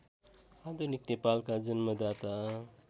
आधुनिक नेपालका जन्मदाता